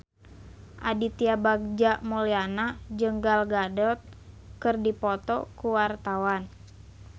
Aditya Bagja Mulyana jeung Gal Gadot keur dipoto ku wartawan